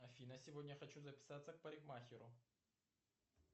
афина сегодня хочу записаться к парикмахеру